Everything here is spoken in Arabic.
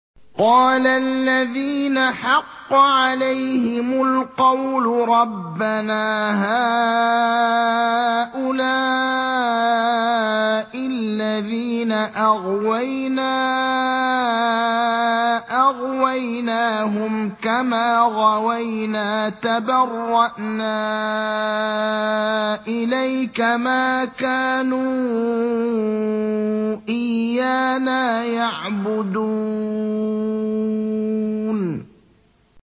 قَالَ الَّذِينَ حَقَّ عَلَيْهِمُ الْقَوْلُ رَبَّنَا هَٰؤُلَاءِ الَّذِينَ أَغْوَيْنَا أَغْوَيْنَاهُمْ كَمَا غَوَيْنَا ۖ تَبَرَّأْنَا إِلَيْكَ ۖ مَا كَانُوا إِيَّانَا يَعْبُدُونَ